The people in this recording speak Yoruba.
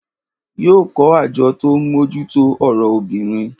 Yóò kọ́ àjọ tó n mújútó ọ̀rọ̀ obìnrin